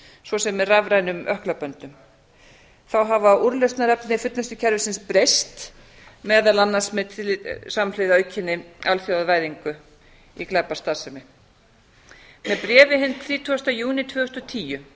svo sem með rafrænum ökklaböndum þá hafa úrlausnarefni fullnustukerfisins breyst meðal annars samhliða aukinni alþjóðavæðingu í glæpastarfsemi með bréfi hinn þrítugasta júní tvö þúsund og tíu